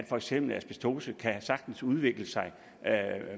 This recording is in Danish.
for eksempel asbestose kan sagtens udvikle sig